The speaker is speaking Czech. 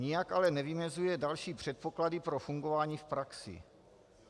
Nijak ale nevymezuje další předpoklady pro fungování v praxi.